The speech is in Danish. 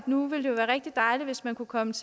nu ville være rigtig dejligt hvis man kunne komme